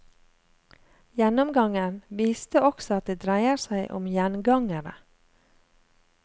Gjennomgangen viste også at det dreier seg om gjengangere.